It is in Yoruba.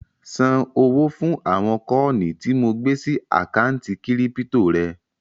Ṣan owó fún àwọn kọ́ọ̀nì tí mo gbé sí àkántì kírípítò rẹ